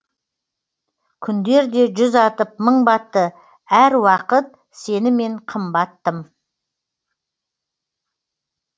күндер де жүз атып мың батты әр уақыт сенімен қымбат тым